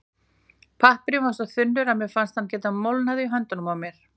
Pappírinn var svo þunnur að mér fannst hann geta molnað í höndunum á mér.